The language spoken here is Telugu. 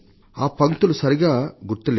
ఆ పంక్తులు సరిగా గుర్తులేవు